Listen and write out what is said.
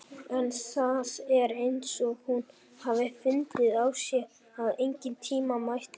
En það er eins og hún hafi fundið á sér að engan tíma mætti missa.